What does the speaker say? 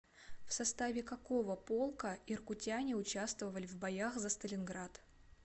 в составе какого полка иркутяне участвовали в боях за сталинград